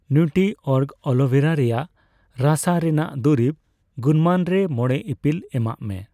ᱱᱤᱣᱴᱨᱤᱚᱨᱜ ᱟᱞᱳᱵᱷᱮᱨᱟ ᱨᱮᱭᱟᱜ ᱨᱟᱥᱟ ᱨᱮᱱᱟᱜ ᱫᱩᱨᱤᱵᱽ ᱜᱩᱱᱢᱟᱱ ᱨᱮ ᱢᱚᱲᱮ ᱤᱯᱤᱞ ᱮᱢᱟᱜ ᱢᱮ ᱾